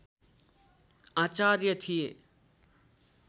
आचार्य थिए